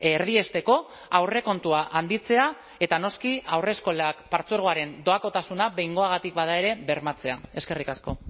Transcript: erdiesteko aurrekontua handitzea eta noski haurreskolak partzuergoaren doakotasuna behingoagatik bada ere bermatzea eskerrik asko